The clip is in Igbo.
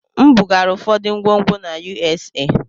M bugara ụfọdụ ngwongwo na USA.